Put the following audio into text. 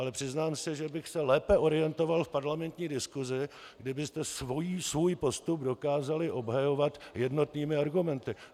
Ale přiznám se, že bych se lépe orientoval v parlamentní diskusi, kdybyste svůj postup dokázali obhajovat jednotnými argumenty.